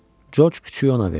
Corc küçüyü ona verdi.